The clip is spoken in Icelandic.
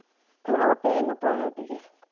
Það var opið inn á baðherbergið.